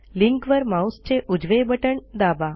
लिंकवर माऊसचे उजवे बटण दाबा